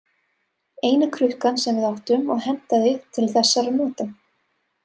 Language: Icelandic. Eina krukkan sem við áttum og hentaði til þessara nota.